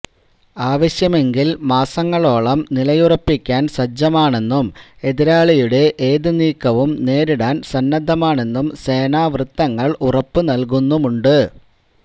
ആവശ്യമെങ്കിൽ മാസങ്ങളോളം നിലയുറപ്പിക്കാൻ സജ്ജമാണെന്നും എതിരാളിയുടെ ഏതു നീക്കവും നേരിടാൻ സന്നദ്ധമാണെന്നും സേനാ വൃത്തങ്ങൾ ഉറപ്പു നൽകുന്നുമുണ്ട്